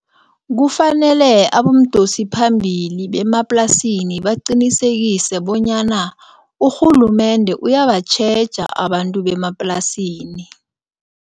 Kufanele abomdosiphambili bemaplasini baqinisekise bonyana urhulumende uyabatjheja abantu bemaplasini.